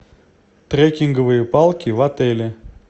трекинговые палки в отеле